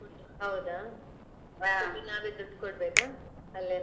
ಹೌದಾ food ಈಗೆ ನಾವೇ ದುಡ್ಡು ಕೊಡ್ಬೇಕಾ ಅಲ್ಲೇ?